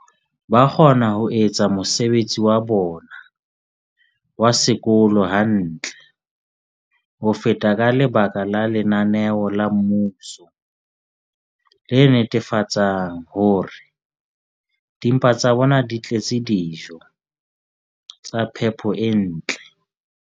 ba kgona ho etsa mosebetsi wa bona wa sekolo hantle ho feta ka lebaka la lenaneo la mmuso le netefatsang hore dimpa tsa bona di tletse dijo tsa phepo e ntle.